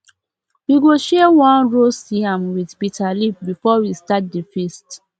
we go share one roast yam with bitter leaf before we start the feast